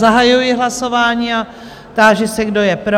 Zahajuji hlasování a táži se, kdo je pro?